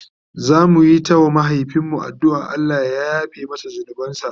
zamuyi ta wa mahaifin mu addu'an Allah ya yafe masa zunubansa